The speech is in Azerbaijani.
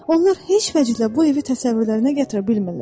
Onlar heç vəclə bu evi təsəvvürlərinə gətirə bilmirlər.